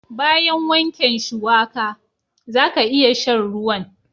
Bayan wanken shuwaka, zaka iya sha'n ruwan.